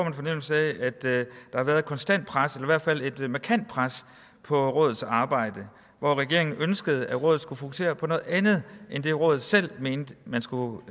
en fornemmelse af at der har været et konstant pres hvert fald et markant pres på rådets arbejde hvor regeringen ønskede at rådet skulle fokusere på noget andet end det rådet selv mente man skulle